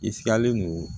I sigalen don